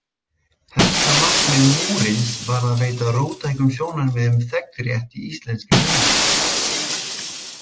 Helsta markmið Múrins var að veita róttækum sjónarmiðum þegnrétt í íslenskri umræðu.